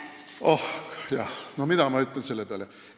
Oijah, mida ma selle peale ütlen?